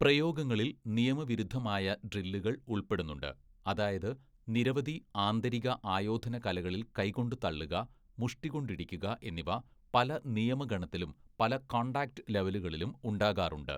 പ്രയോഗങ്ങളിൽ നിയമവിരുദ്ധമായ ഡ്രില്ലുകൾ ഉൾപ്പെടുന്നുണ്ട് അതായത് നിരവധി ആന്തരിക ആയോധനകലകളിൽ കൈകൊണ്ടു തള്ളുക, മുഷ്‌ടികൊണ്ടിടിക്കുക എന്നിവ പല നിയമഗണത്തിലും പല കോൺടാക്ട് ലെവലുകളിലും ഉണ്ടാകാറുണ്ട്.